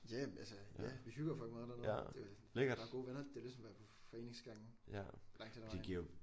Ja altså ja vi hygger jo fucking meget dernede det der er gode venner. Det er ligesom at være på foreningsgangen langt henne ad vejen